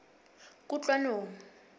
kutlwanong